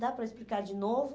Dá para explicar de novo?